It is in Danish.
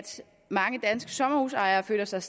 mange danske sommerhusejere føler sig